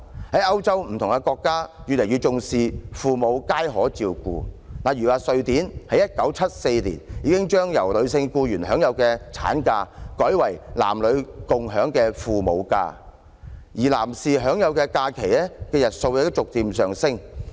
在歐洲各國越來越重視父母皆可參與照顧子女，例如瑞典在1974年已經將由女性僱員享有的產假改為男女共享的"親職假"，而男士享有的假期日數亦逐漸上升。